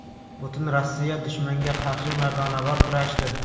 Butun Rossiya dushmanga qarshi mardonavor kurashdi.